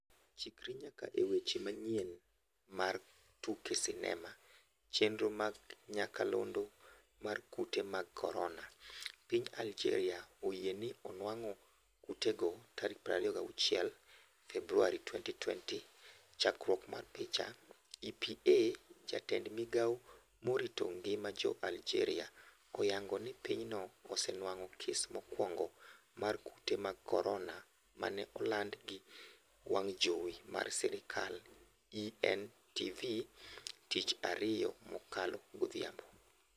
Chikri nyaka e weche manyien mar tuke sinema chenro mag nyakalondo mar Kute mag korona: Piny Aljeria oyie ni onwang'o kutego 26 Februari 2020. Chakruok mar picha, EPA jatend migao morito ngima jo Aljeria oyango ni pinyno osenwang'o kes mokwongo mar kute mag korona mane oland gi wang' jowi mar sirkal, ENTV tich ariyo mokalo godhiambo.